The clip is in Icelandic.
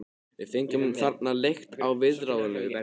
Við fengum þarna leigt á viðráðanlegu verði.